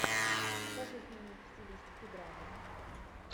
покажи фильмик в стилистике драма